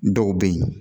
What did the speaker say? Dɔw bɛ yen